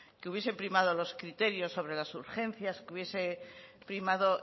que hubiesen primado los criterios sobre las urgencias que hubiese primado